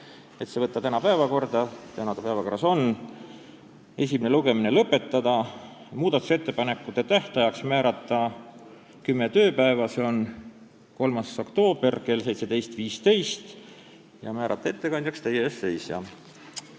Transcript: Need menetluslikud otsused olid: saata eelnõu tänasesse päevakorda , esimene lugemine lõpetada, muudatusettepanekute esitamise tähtajaks määrata kümme tööpäeva, s.o 3. oktoober kell 17.15, ja ettekandjaks määrata teie ees seisja.